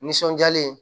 Nisɔndiyalen ye